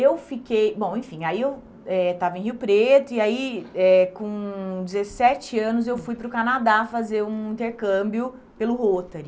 Eu fiquei... Bom, enfim, aí eu eh estava em Rio Preto e aí eh, com dezessete anos, eu fui para o Canadá fazer um intercâmbio pelo Rotary.